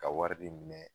Ka wari de minɛ